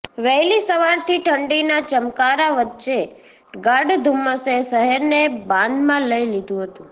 વહેલી સવારથી ઠંડીના ચમકારા વચ્ચે ગાઢ ધુમ્મસે શહેરને બાનમાં લઈ લીધું હતું